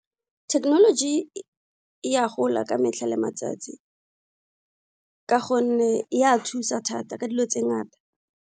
Technology e a gola ka metlha le matsatsi ka gonne e a thusa thata ka dilo tse ngata.